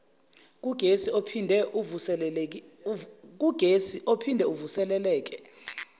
kugesi ophinde uvuseleleke